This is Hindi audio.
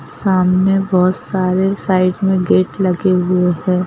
सामने बहुत सारे साइड में गेट लगे हुए हैं।